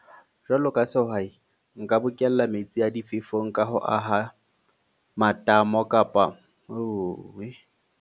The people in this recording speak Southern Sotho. Jwalo ka sehwai, nka bokella metsi a difefo ka ho aha matamo kapa .